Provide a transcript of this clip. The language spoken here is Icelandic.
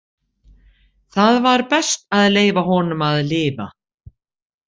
Það var best að leyfa honum að lifa.